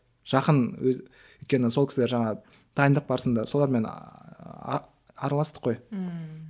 жақын өзі өйткені сол кісілер жаңағы дайындық барысында солармен араластық қой ммм